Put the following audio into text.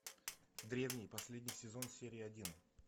древние последний сезон серия один